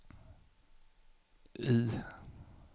I